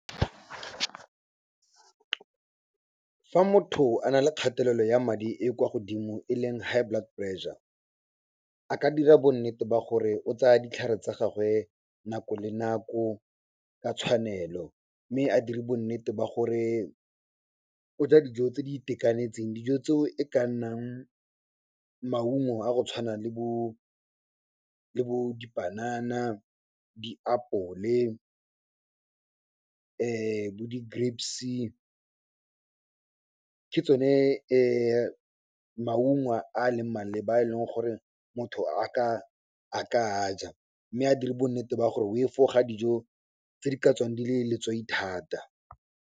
Fa motho a nale kgatelelo ya madi e kwa godimo e leng high blood pressure, a ka dira bonnete ba gore o tsaya ditlhare tsa gagwe nako le nako, ka tshwanelo mme a diri bonnete ba gore o ja dijo tse di itekanetseng. Dijo tseo e ka nnang maungo a go tshwana le bo dipanana, diapole bo di grapes-e, ke tsone maungo a leng maleba, a e leng gore motho a ka aja mme a dire bonnete ba gore o efoga dijo tse di ka tswang di le letswai thata.